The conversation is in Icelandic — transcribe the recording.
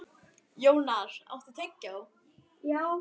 Jónar, áttu tyggjó?